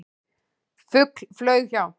Fugl flaug hjá.